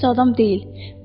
Amma pis adam deyil.